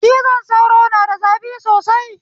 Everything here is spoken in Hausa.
Cizon sauro na da zafi sosai